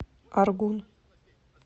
аргун